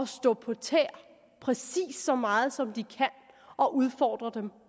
stå på tæer præcis så meget som de kan og udfordre dem